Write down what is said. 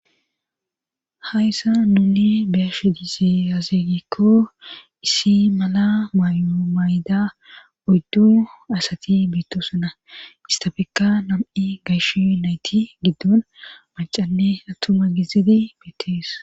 Hayssa nuuni beyashu dizeyazeegikko issi mala mayumayda odddu asati beittosuna istafeka nam7i gaysh yu nayti giddon macanne attuma gizidi beetees.